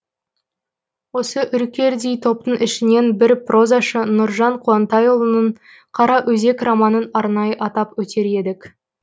осы үркердей топтың ішінен біз прозашы нұржан қуантайұлының қараөзек романын арнайы атап өтер едік